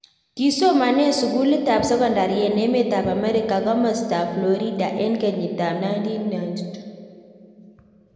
Kisomanen sukulit ab sekondari en emet ab America komastab Fkorida en kenyit ab 1992